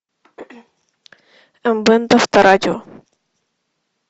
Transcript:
м бэнд авторадио